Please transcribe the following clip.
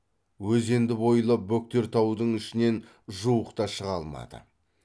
өзенді бойлап бөктер таудың ішінен жуықта шыға алмады